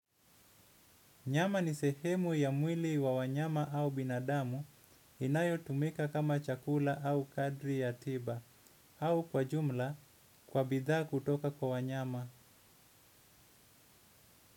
Nyama ni sehemu ya mwili wa wanyama au binadamu inayotumika kama chakula au kadri ya tiba. Au kwa jumla kwa bidhaa kutoka kwa wanyama.